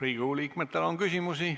Riigikogu liikmetel on küsimusi.